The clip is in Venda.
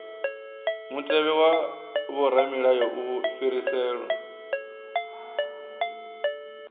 mutevhe wa vhoramilayo u fhiriselwa